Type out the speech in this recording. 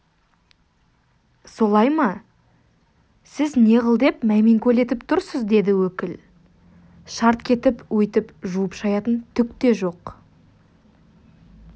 солай ма сіз неғыл деп мәймеңкөлетіп тұрсыз деді өкіл шарт кетіп өйтіп жуып-шаятын түк те жоқ